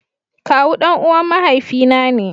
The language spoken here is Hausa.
Kawu danuwan mahaifi na ne.